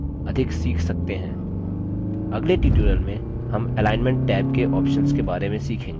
अगले tutorial में हम alignment टैब के options के बारे में सीखेंगे